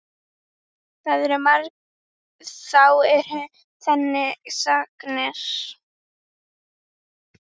Þá eru það sagnir.